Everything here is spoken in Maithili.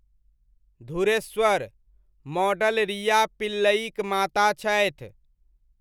धुरेश्वर, मॉडल रिया पिल्लइक माता छथि।